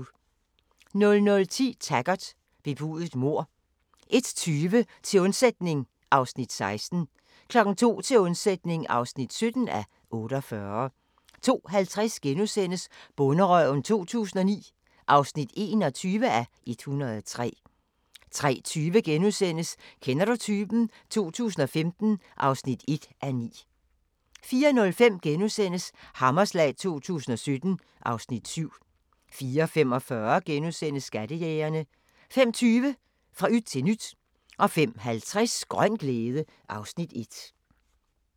00:10: Taggart: Bebudet mord 01:20: Til undsætning (16:48) 02:00: Til undsætning (17:48) 02:50: Bonderøven 2009 (21:103)* 03:20: Kender du typen? 2015 (1:9)* 04:05: Hammerslag 2017 (Afs. 7)* 04:45: Skattejægerne * 05:20: Fra yt til nyt 05:50: Grøn glæde (Afs. 1)